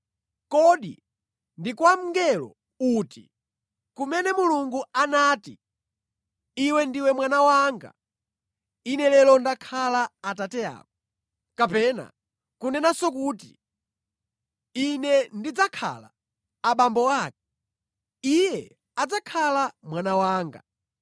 Kodi ndi kwa mngelo uti, kumene Mulungu anati, “Iwe ndiwe mwana wanga; Ine lero ndakhala Atate ako.” Kapena kunenanso kuti, “Ine ndidzakhala abambo ake; iye adzakhala mwana wanga.”